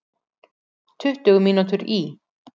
Tuttugu mínútur í